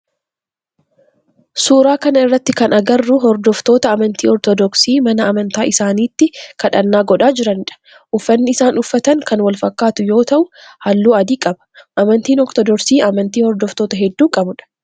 Suuraa kana irratti kan agarru hordoftoota amantii ortodoksii mana amantaa isaanitti kadhannaa godhaa jiranidha. Uffanni isaan uffatan kan wal fakkaatu yoo ta'u halluu adii qaba. Amantiin ortodoksii amantii hordoftoota hedduu qabudha.